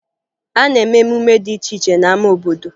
A na-eme emume dị iche iche n'ama obodo